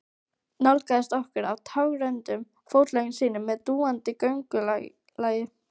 Nálgaðist okkur á tággrönnum fótleggjum sínum með dúandi göngulagi.